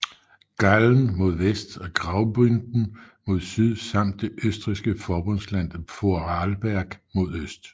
Gallen mod vest og Graubünden mod syd samt det østrigske forbundsland Vorarlberg mod øst